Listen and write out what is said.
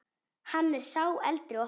Hann er sá eldri okkar.